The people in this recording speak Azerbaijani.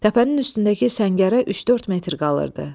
Təpənin üstündəki səngərə üç-dörd metr qalırdı.